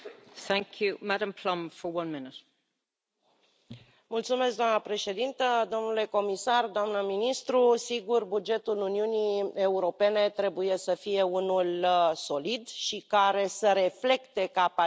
Doamna președintă, domnule comisar, doamna ministru, sigur, bugetul Uniunii Europene trebuie să fie unul solid și care să reflecte capacitatea noastră de a susține dezvoltările